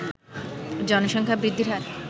জনসংখ্যা বৃদ্ধির হার